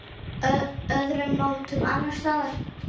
Öðrum nóttum annars staðar?